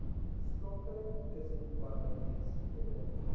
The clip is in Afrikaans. skakeling tussen parlementslede